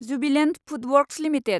Jubilant Foodworks limited